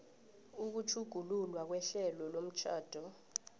ukutjhugululwa kwehlelo lomtjhado